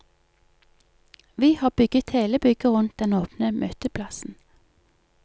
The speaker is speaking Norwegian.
Vi har bygget hele bygget rundt den åpne møteplassen.